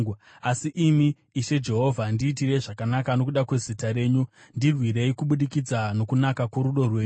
Asi imi, Ishe Jehovha, ndiitirei zvakanaka nokuda kwezita renyu; ndirwirei, kubudikidza nokunaka kworudo rwenyu.